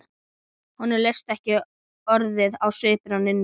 Honum leist ekki orðið á svipinn á Nínu.